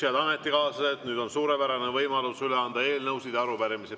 Head ametikaaslased, nüüd on suurepärane võimalus anda üle eelnõusid ja arupärimisi.